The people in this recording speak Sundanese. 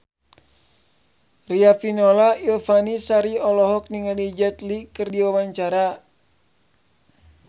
Riafinola Ifani Sari olohok ningali Jet Li keur diwawancara